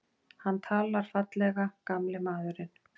Hann talar fallega, gamli maðurinn.